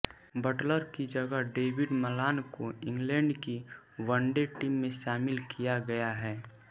Buttler की जगह David Malan को इंग्लैंड की वनडे टीम में शामिल किया गया है